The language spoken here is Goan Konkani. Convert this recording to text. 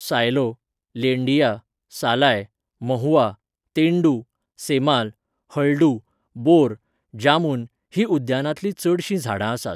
सायलो, लेंडिया, सालाय, महुआ, तेंडू, सेमाल, हळडू, बोर, जामुन हीं उद्यानांतलीं चडशीं झाडां आसात.